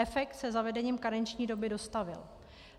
Efekt se zavedením karenční doby dostavil.